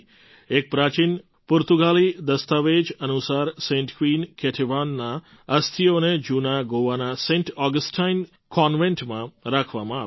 એક પ્રાચીન પુર્તગાલી દસ્તાવેજ અનુસાર સેન્ટ ક્વીન કેટેવાનનાં અસ્થિઓને જૂના ગોવાના સેન્ટ ઑગસ્ટાઇન કૉન્વેન્ટમાં રાખવામાં આવ્યાં હતાં